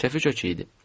Kefi kökü idi.